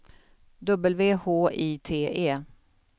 W H I T E